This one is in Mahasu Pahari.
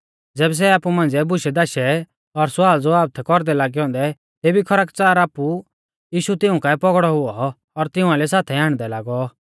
ज़ैबै सै आपु मांझ़िऐ बुशैधाशै और स्वालज़वाब थै कौरदै लागै औन्दै तेभी खरकच़ार आपु यीशु तिऊं काऐ पौगड़ौ हुऔ और तिऊं आइलै साथाई आण्डदै लागौ